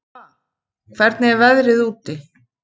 Alva, hvernig er veðrið úti?